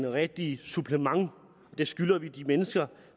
rigtige supplement det skylder vi de mennesker